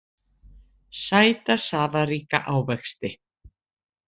Sæta safaríka ávexti.